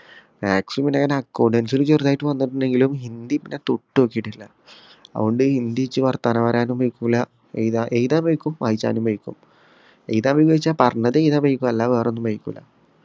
maths പിന്നെ ഞാൻ accountancy ഇൽ ചെറുതായിട്ട് വന്നിട്ടുണ്ടെങ്കിലും ഹിന്ദി പിന്നെ തൊട്ട് നോക്കിട്ടില്ല അതോണ്ട് ഹിന്ദി നിച് വർത്താനം പറയാനൊന്നും വയ്ക്കൂല ഏഴുതാ എഴുതാന് വയ്ക്കും വായിചാനും വയ്യ്ക്കും എഴുതാൻ ന്ന് ചോയ്ച്ച പറഞ്ഞത് എയുതാൻ വായ്ക്കു അല്ലാതെ വേറെ ഒന്നും വയ്ക്കുല്ല